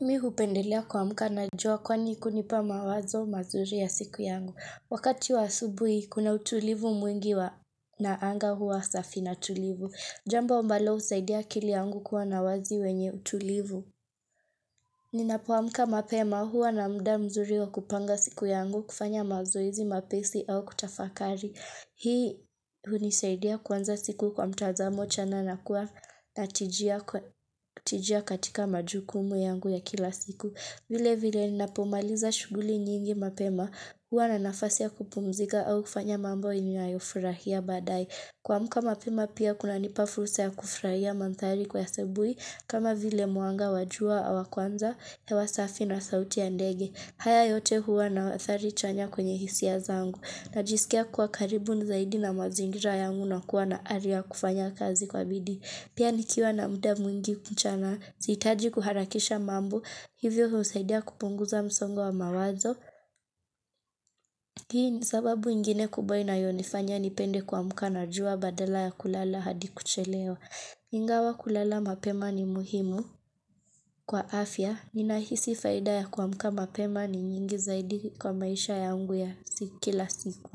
Mi hupendelea kuamka na jua kwani hunipa mawazo mazuri ya siku yangu. Wakati wa asubuhi, kuna utulivu mwingi wa na anga huwa safi na tulivu. Jambo ambalo husaidia akili yangu kuwa na wazi wenye utulivu. Ninapo amka mapema huwa na muda mzuri wa kupanga siku yangu kufanya mazoezi mapesi au kutafakari. Hii hunisaidia kuanza siku kwa mtazamo chana na kuwa na tijia katika majukumu yangu ya kila siku. Vile vile ninapomaliza shughuli nyingi mapema. Huwa na nafasi ya kupumzika au kufanya mambo ninayofurahia baadae. Kuamka mapema pia kunanipa fursa ya kufurahia manthari kwa asubuhi. Kama vile mwanga wa jua awa kwanza, hewa safi na sauti ya ndege. Haya yote huwa na athari chanya kwenye hisia zangu. Najisikia kuwa karibu zaidi na mazingira yangu na kuwa na ari ya kufanya kazi kwa bidii. Pia nikiwa na muda mwingi mchana zihitaji kuharakisha mambo. Hivyo husaidia kupunguza msongo wa mawazo. Hii ni sababu ingine kubwa inayonifanya nipende kuamka na jua badala ya kulala hadi kuchelewa. Ingawa kulala mapema ni muhimu. Kwa afya, ninahisi faida ya kuamka mapema ni nyingi zaidi kwa maisha yangu ya si kila siku.